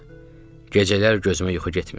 Gecələr gözümə yuxu getmirdi.